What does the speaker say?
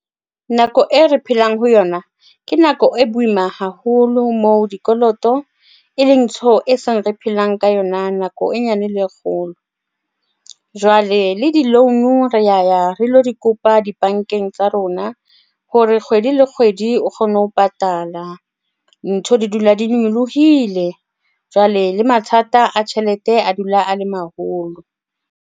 Nako e re phelang ho yona ke nako e boima haholo moo dikoloto e leng ntho e seng re phelang ka yona nako e nyane le kgolo. Jwale le di-loan, re ya ya re di kopa dibankeng tsa rona hore kgwedi le kgwedi o kgone ho patala ntho di dula di nyolohile. Jwale le mathata a tjhelete a dula a le maholo.